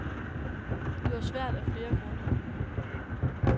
Det var svært af flere grunde.